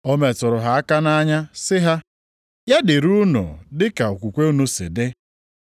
O metụrụ ha aka nʼanya sị ha, “Ya dịrị unu dị ka okwukwe unu si dị.”